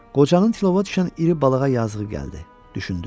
Qocanın tilova düşən iri balığa yazığı gəldi, düşündü.